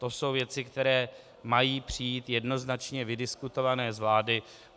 To jsou věci, které mají přijít jednoznačně vydiskutované z vlády.